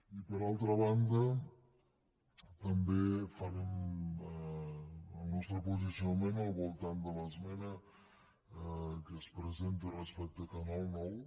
i per altra banda també farem el nostre posicionament al voltant de l’esmena que es presenta respecte a canal nou